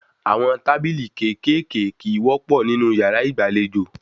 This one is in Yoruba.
Àwọn tábìlì kéékèèké kìí wọ́pọ́ nínú yàrá ìgbàlejò